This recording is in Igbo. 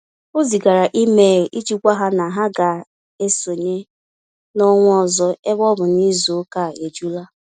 O zigara email iji gwa ha na ha ga-esonye n'ọnwa ọzọ ebe ọ bụ na izu ụka a ejula